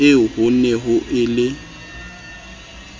eo ho ne ho le